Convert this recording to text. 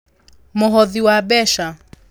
Mũhothi wa mbeca: